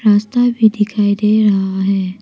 रास्ता भीं दिखाई दे रहा है।